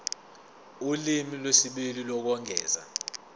ulimi lwesibili lokwengeza